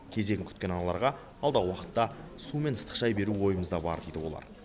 кезегін күткен аналарға алдағы уақытта су мен ыстық шай беру ойымызда бар дейді олар